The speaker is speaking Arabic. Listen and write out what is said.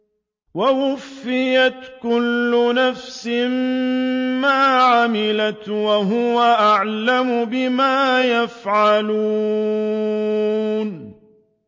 وَوُفِّيَتْ كُلُّ نَفْسٍ مَّا عَمِلَتْ وَهُوَ أَعْلَمُ بِمَا يَفْعَلُونَ